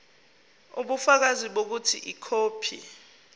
ubufakazi bokuthi ikhophi